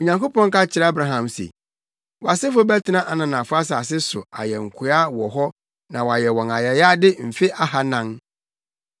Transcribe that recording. Onyankopɔn ka kyerɛɛ Abraham se, ‘Wʼasefo bɛtena ananafo asase so ayɛ nkoa wɔ hɔ na wɔayɛ wɔn ayayade mfe ahannan.